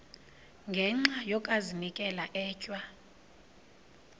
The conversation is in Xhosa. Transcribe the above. ngenxa yokazinikela etywa